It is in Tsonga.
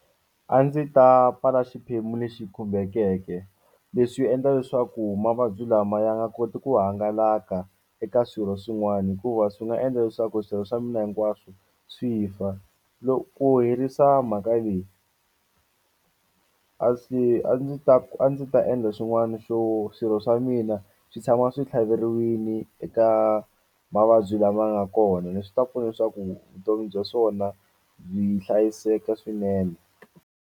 A ndzi ta pfala xiphemu lexi khumbekeke leswi endla leswaku mavabyi lama ya nga koti ku hangalaka eka swirho swin'wani hikuva swi nga endla leswaku swirho swa mina hinkwaswo swi fa ku herisa mhaka leyi a swi a ndzi ta ku a ndzi ta endla swin'wani xo swirho swa mina swi tshama swi tlhaveriwini eka mavabyi lama nga kona leswi ta pfuna leswaku vutomi bya swona byi hlayiseka swinene.